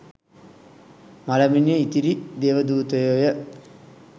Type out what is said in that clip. මළමිනිය ඉතිරි දේවදූතයෝය.